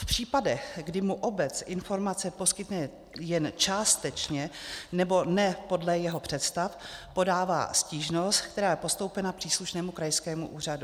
V případech, kdy mu obce informace poskytne jen částečně nebo ne podle jeho představ, podává stížnost, která je postoupena příslušnému krajskému úřadu.